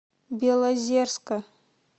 белозерска